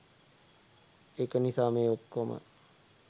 ඒක නිසා මේ ඔක්කොම